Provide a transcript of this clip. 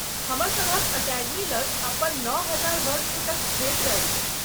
हमरसभक अकेडमी लग अपन नओ हजार वर्गफुटक क्षेत्र अछि।